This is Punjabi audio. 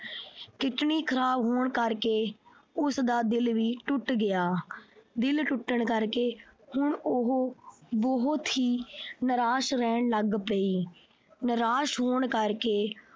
kidney ਖਰਾਬ ਹੋਣ ਕਰਕੇ ਉਸਦਾ ਦਿਲ ਵੀ ਟੁੱਟ ਗਿਆ। ਦਿਲ ਟੁੱਟਣ ਕਰਕੇ ਹੁਣ ਉਹ ਬਹੁਤ ਹੀ ਨਿਰਾਸ਼ ਰਹਿਣ ਲੱਗ ਪਈ। ਨਿਰਾਸ਼ ਹੋਣ ਕਰਕੇ